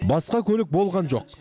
басқа көлік болған жоқ